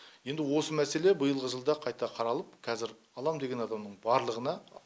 енді осы мәселе биылғы жылда қайта қаралып қазір аламын деген адамның барлығына